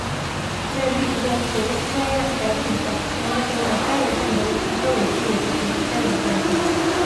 Sabitu ba shi da wasu kaya a ɗakinsa, don haka yana fara jin barci kawai sai ya kashe wuta ya kwanta